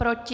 Proti?